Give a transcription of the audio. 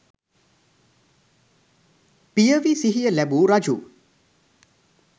පියවි සිහිය ලැබූ රජු